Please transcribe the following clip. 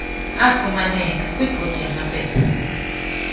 afumaneka kwibhodi yamaphepha